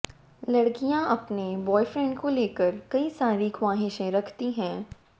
लड़कियां अपने ब्वॉयफ्रैंड को लेकर कई सारी ख्वाहिशें रखती हैं